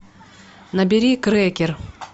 набери крекер